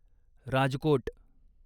Rajkot